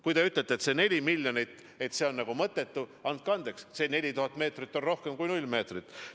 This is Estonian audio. Kui te ütlete, et see 4 miljonit on nagu mõttetu – andke andeks, see 4000 meetrit on rohkem kui 0 meetrit.